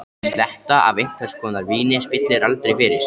Sletta af einhvers konar víni spillir aldrei fyrir.